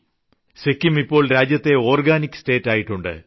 സിക്കിം ഇപ്പോൾ രാജ്യത്തെ organic state ആയിട്ടുണ്ട്